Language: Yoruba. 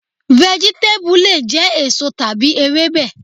Vẹ̀gítébù lè jẹ́ èso tàbí Ewébẹ̀.